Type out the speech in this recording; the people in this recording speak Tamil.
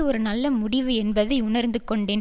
ஒரு நல்ல முடிவு என்பதை உணர்ந்து கொண்டேன்